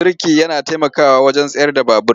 Birki yana taimakawa wajen tsayar da babur.